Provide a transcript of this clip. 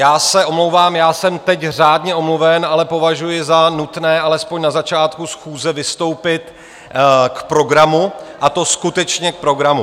Já se omlouvám, já jsem teď řádně omluven, ale považuji za nutné alespoň na začátku schůze vystoupit k programu, a to skutečně k programu.